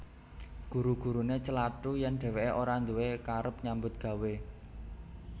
Guru guruné celathu yèn dhèwèké ora nduwé karep nyambut gawé